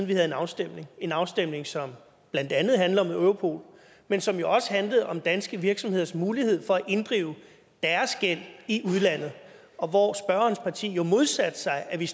vi havde en afstemning en afstemning som blandt andet handlede om europol men som jo også handlede om danske virksomheders mulighed for at inddrive deres gæld i udlandet og hvor spørgerens parti jo modsatte sig at vi